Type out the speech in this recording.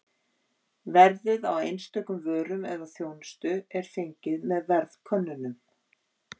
Verðið á einstökum vörum eða þjónustu er fengið með verðkönnunum.